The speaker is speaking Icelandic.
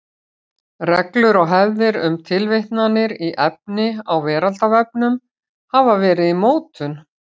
Reglur og hefðir um tilvitnanir í efni á Veraldarvefnum hafa verið í mótun.